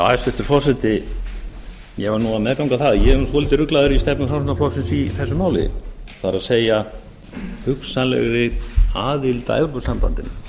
hæstvirtur forseti ég verð nú að meðganga það að ég er nú svolítið ruglaður í stefnu framsóknarflokksins í þessu máli það er hugsanlegri aðild að evrópusambandinu